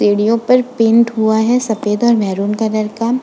सीढियों पर पेंट हुआ है सफ़ेद और महरून कलर का।